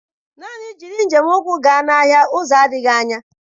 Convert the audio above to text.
Naan jiriị njem ụkwụ gaa n'ahịa uzo adịghị anya.